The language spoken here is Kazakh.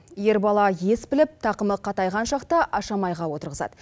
ер бала ес біліп тақымы қатайған шақта ашамайға отырғызады